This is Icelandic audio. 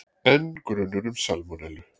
Enn grunur um salmonellu